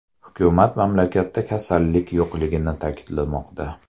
Hukumat mamlakatda kasallik yo‘qligini ta’kidlamoqda.